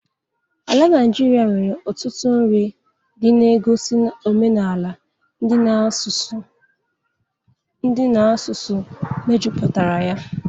Ala Naijiria nwere ọtụtụ nri ndị na-egosi omenala ndị na asụsụ mejupụtara ya.